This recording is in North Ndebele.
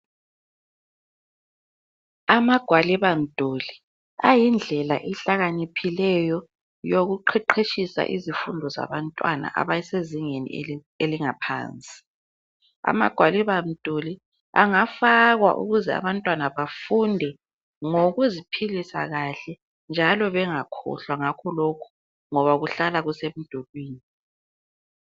Amagwalibamduli ayindlela ehlakaniphileyo yokuqheqheshisa izifundo zabantwana abasezingeni elingaphansi. Amagwalibamduli angafakwa ukuze abantwana bafunde ngokuziphilisa kahle njalo bengakhohlwa ngakho lokhu ngoba kuhlala kusemdulwini.